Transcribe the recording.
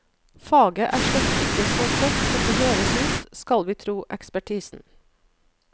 Faget er slett ikke så tørt som det høres ut, skal vi tro ekspertisen.